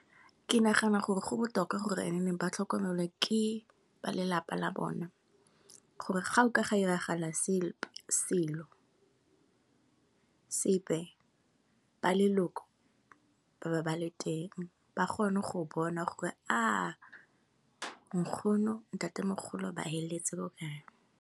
Ke nagana gore go botoka gore ne ba tlhokomele ke ba lelapa la bona, gore ga go ka ga diragala selo, ba leloko ba ba bale teng. Ba kgone go bona gore Nkgono, Ntatemogolo ba feleletse ko kae